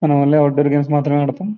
మన్మ only outdoor games మాత్రమే ఆడుతాం.